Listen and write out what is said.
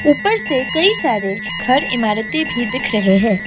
ऊपर से कई सारे घर इमारतें भी दिख रहे हैं।